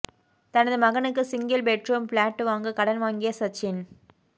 தனது மகனுக்கு single bedroom flat வாங்க கடன் வாங்கிய சச்சின்